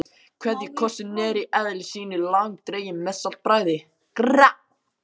KVEÐJUKOSSINN er í eðli sínu langdreginn með saltbragði.